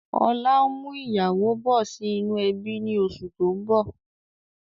Ọlá ń mú ìyàwó bọ̀ sì inú ẹbi ni oṣù tó ń bọ̀